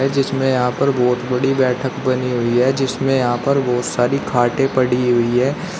जिसमें यहां पर बहोत बड़ी बैठक बनी हुई है जिसमें यहां पर बहोत सारी खाटे पड़ी हुई है।